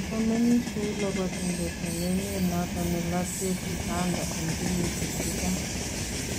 Kokomengiis kouu labatindet en emeet noton ne latyeet Uganda en kenyisiek chechang